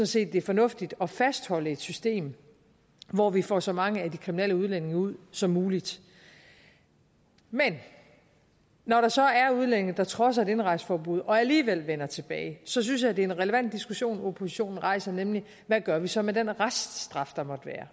set det er fornuftigt at fastholde et system hvor vi får så mange af de kriminelle udlændinge ud som muligt men når der så er udlændinge der trodser et indrejseforbud og alligevel vender tilbage synes jeg det er en relevant diskussion oppositionen rejser nemlig hvad gør vi så med den reststraf der måtte